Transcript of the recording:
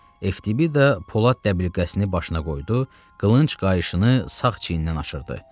Ftibi də polad dəbilqəsini başına qoydu, qılınc qayışını sağ çiynindən aşırdı.